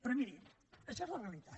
però miri això és la realitat